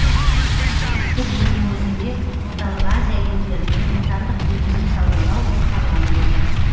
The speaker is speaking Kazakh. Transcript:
тіпті биылдың өзінде орталық азия елдеріне отандық бензин саудалау жоспарланып отыр